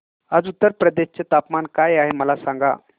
आज उत्तर प्रदेश चे तापमान काय आहे मला सांगा